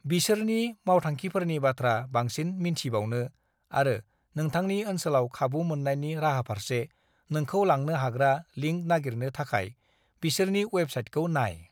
"बिसोरनि मावथांखिफोरनि बाथ्रा बांसिन मिन्थिबावनो, आरो नोंथांनि औनसोलाव खाबु मोन्नायनि राहाफारसे नोंखौ लांनो हाग्रा लिंक नागिरनो थाखाय, बिसोरनि वेबसाइटखौ नाय।"